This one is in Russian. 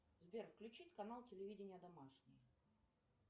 сбер включить канал телевидения домашний